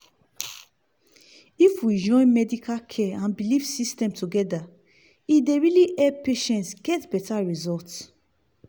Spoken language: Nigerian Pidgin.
if we fit join medical care and belief system together e dey really help patients get better result.